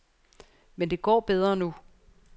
Men det går bedre nu.